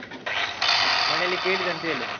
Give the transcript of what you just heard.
ಹಾ ಮನೇಲಿ ಕೇಳಿದೆ, ಅಂತ ಹೇಳು.